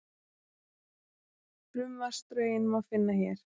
Frumvarpsdrögin má finna hér